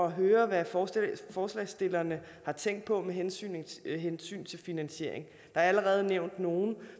at høre hvad forslagsstillerne har tænkt på med hensyn hensyn til finansiering der er allerede nævnt nogle